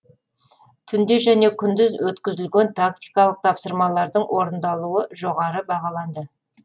түнде және күндіз өткізілген тактикалық тапсырмалардың орындалуы жоғары бағаланды